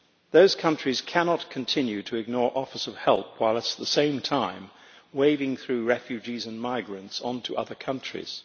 Those countries cannot continue to ignore offers of help while at the same time waving through refugees and migrants on to other countries.